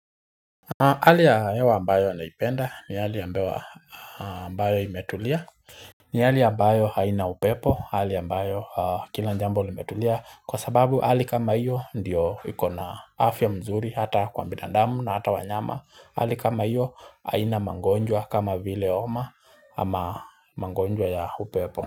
Hali ya hewa ambayo naipenda ni hali ambayo ambayo imetulia ni hali ambayo haina upepo hali ambayo kila jambo limetulia kwa sababu hali kama hiyo ndiyo iko na afya mzuri hata kwa binadamu na hata wanyama hali kama hiyo haina magonjwa kama vile homa ama magonjwa ya upepo.